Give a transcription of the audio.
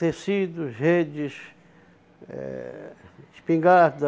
Tecidos, redes, eh espingarda,